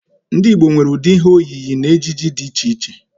Ndi Igbo nwere udi ihe oyiyi na ejiji di iche iche